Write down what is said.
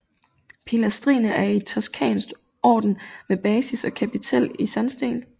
Pilastrene er i toscansk orden med basis og kapitæl i sandsten